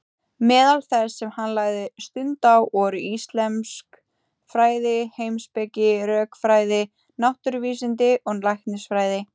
Meðal þess sem hann lagði stund á voru íslömsk fræði, heimspeki, rökfræði, náttúruvísindi og læknisfræði.